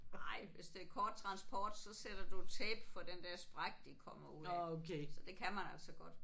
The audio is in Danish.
Ej hvis det er kort transport så sætter du tape for den der sprække de kommer ud af så det kan man altså godt